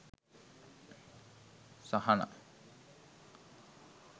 sahana